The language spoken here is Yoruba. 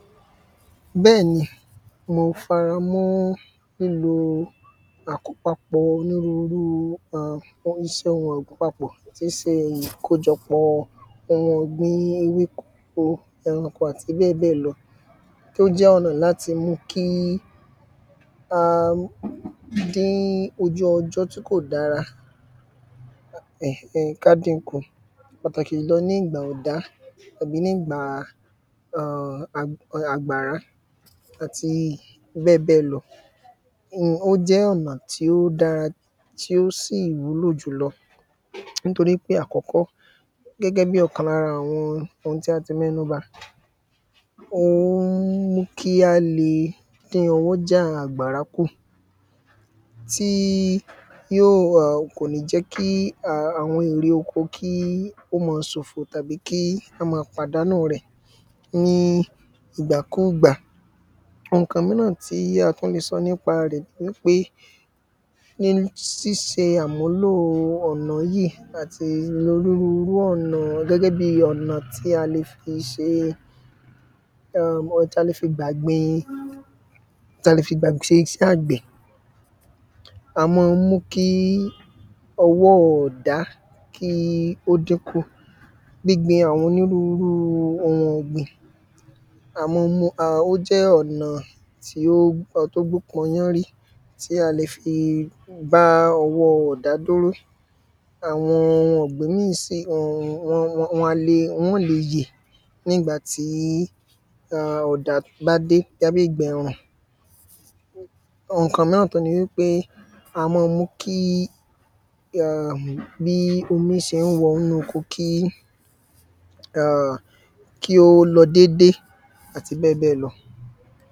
bẹ́ẹ̀ni, mó fara mọ́ lílo àkópapọ̀ọ onírúru um àlòpapọ̀ọ tí ń se ìkójọpọ̀ọ ewéko, ẹranko, àti bẹ́ẹ̀bẹ́ẹ̀ lọ tí ó jẹ́ ọ̀nà láti mú kí a dín ojú ọjọ́ tí kò dára, ẹ̀n ẹn, ká din kù pàtàkì jùlọ ní ìgbà ọ̀dá tàbí ní ìgbàa àgbàrá àti bẹ́ẹ̀bẹ́ẹ̀ lọ um ó jẹ́ ọ̀nà tí ó dára tí ó sì wúlò jùlọ nítorí pé ní àkọ́kọ́, gbẹ́gbẹ́ bí ọ̀kan lára àwọn ohun tí a ti mẹ́nu bà ó ń mú kí a le dín ọwọ́ jàá àgbàrá kù, tíí í yíò ọ̀, kòní jẹ́ kí àwọn ohun èrè oko kí ó mọ sòfo, tàbí kí a ma pàdánùu rẹ̀ ní ìgbàkúùgbà. ohun kan míràn tí a tún le sọ nípa rẹ̀ nipé; ní síse àmúlòo ọ̀nà yíì àti onírurú ọ̀nà gbẹ́gbẹ́ bí ọ̀nà tí a le fí se, ọ̀nà tí a le fi gbà gbin, tí a le fi gbà se isẹ́ àgbẹ̀, a mọ́ọ mú kíí ọwọ́ọ ọ̀dá kí ó dín kù. gbígbin àwọn onírurúu ohun ọ̀gbìn a mọ́ọ mú, ó jẹ́ ọ̀nà tí ó tógbúpọn yánrí, tí a le fí bá ọwọ́ọ ọ̀dá dúró. àwọn ohun ọ̀gbìn míì si, wan a le, wọn ó le yè ní ìgbà tí ọ̀dá bá dé, bóyá ní ìgbà ẹ̀rùn. ohun kan míràn tún ni wípé, a mọ́ọ mú kí, um bí omí se ń wọnú oko kí, um kí ó lọ dédé, àti bẹ́ẹ̀bẹ́ẹ̀ lọ.